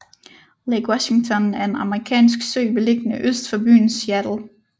Lake Washington er en amerikansk sø beliggende øst for byen Seattle